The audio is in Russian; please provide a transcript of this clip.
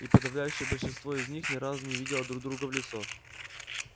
и подавляющее большинство из них ни разу не видело друг друга в лицо